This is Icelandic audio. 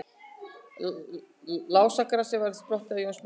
Lásagrasið verður þá sprottið á Jónsmessunótt.